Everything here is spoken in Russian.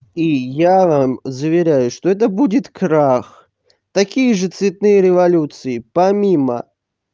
и я заверяю что это будет крах такие же цветные революции помимо